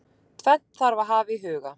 Tvennt þarf að hafa í huga.